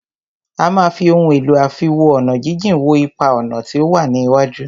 A máà fí ohun èlò àfiwo-ọ̀nàjíjìn wo ipa-ọ̀nà tí o wá ní iwájú.